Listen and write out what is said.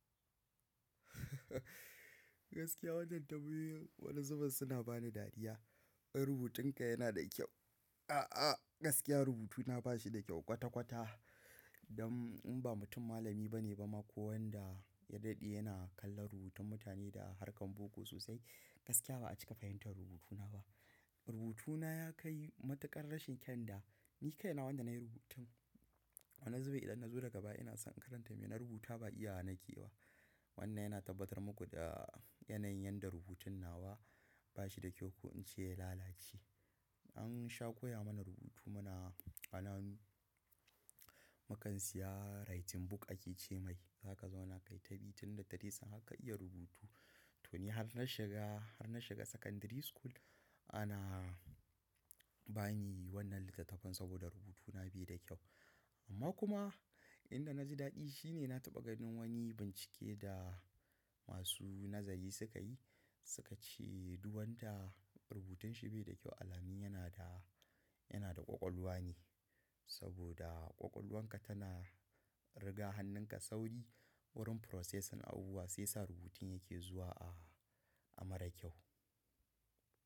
Gaskiya wannan tambayin wani zuben suna bani dariya. Rubutunka yana da kyau. A'a, gaskiya rubutuna ba shi da kyau kwata-kwata. Don in ba mutum malami bane ba ma ko wanda ya daɗe yana kallon rubutun mutane da harkan boko sosai. Gaskiya ba a cika fahimtar rubutuna ba. Rubutuna ya kai matuƙan rashin kyan da ni kaina wanda na yi rubutun. Wani zube idan na zo daga baya ina son in karanta me na rubuta ba iya na ke ba. Wannan yana tabbatar muku da yanayin yadda rubutun nawa ba shi da kyau ko in ce ya lalace. An sha koya mana rubutu muna ƙananu. Mu kan siya writing book a ci ce mai. Za ka zauna ka yi tabitin da ta dai sannan ka iya rubutu. To ni har na shiga, har na shiga secondary school ana bani wannan littatafan saboda rubutuna bai da kyau. Amma kuma inda na ji daɗi shi ne na taɓa ganin wani bincike da masu nazari suka yi. Suka ce duwanta rubutanshi bai da kyau alamin yana da, yana da ƙwaƙwalwa ne. Saboda ƙwaƙwalwanka tana riga hannunka sauri wurin processing abubuwa sai sa rubutun yake zuwa a, a marar kyau.